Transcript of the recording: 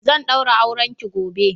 zan daura aurenki gobe!